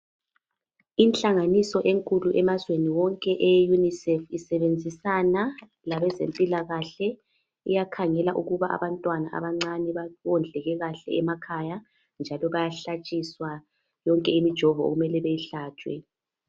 Inhlanganiso enkulu emazweni wonke eye UNICEF isebenzisana labezempilakahle, iyakhangela ukubana abantwana abancane bawondleke kahle emakhaya njalo bayahlatshiswa yonke imijovo okumele beyihlatshwe.